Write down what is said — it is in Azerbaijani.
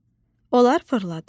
Olar fırladım?